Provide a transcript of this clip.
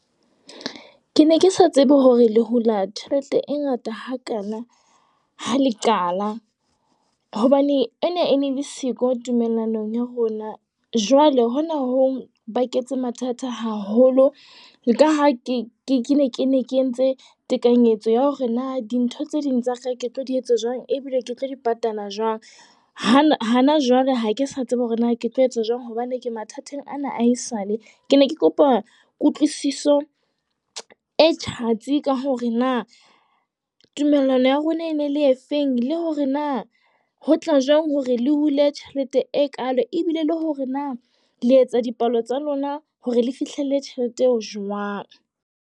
Ke ne ke sa tsebe hore le hula tjhelete e ngata hakana, ha le qala. Hobane ena e ne le siko tumellanong ya rona. Jwale hona ho baketse mathata haholo ka ha ke ke ne ke ne ke entse tekanyetso ya hore na dintho tse ding tsa kae ke tlo di etsa jwang, ebile ke tlo di patala jwang. Hana hana jwale ha ke sa tsebe hore na ke tlo etsa jwang hobane ke mathateng ana a esale. Ke ne ke kopa kutlwisiso e tjhatsi ka hore na tumellano ya rona e ne le e feng. Le hore na ho tla jwang hore le hule tjhelete e kaalo ebile le hore na le etsa dipalo tsa lona, hore le fihlelle tjhelete eo jwang.